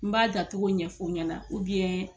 N b'a da togo ɲɛfɔ ɲɛna na